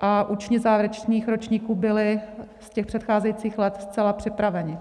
a učni závěrečných ročníků byli z těch předcházejících let zcela připraveni.